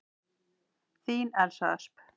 Þín Elsa Ösp.